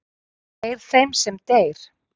deyr þeim sem deyr